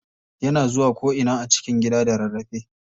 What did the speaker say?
Yana zuwa ko ina a cikin gidan da rarrafe.